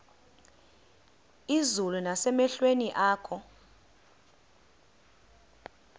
izulu nasemehlweni akho